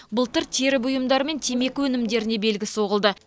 былтыр тері бұйымдары мен темекі өнімдеріне белгі соғылды